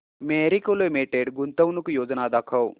Marico limited गुंतवणूक योजना दाखव